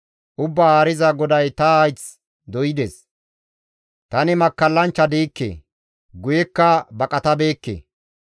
Ubbaa Haariza GODAY ta hayth doydes; tani makkallanchcha diikke; guyekka baqatabeekke.